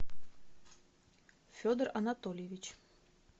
федор анатольевич